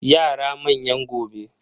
Yara manyan gobe.